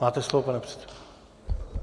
Máte slovo, pane předsedo.